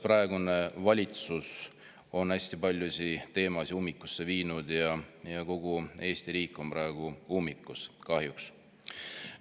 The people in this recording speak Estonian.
Praegune valitsus on hästi paljusid teemasid ummikusse viinud ja kogu Eesti riik on praegu ummikus, kahjuks.